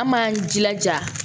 An m'an jilaja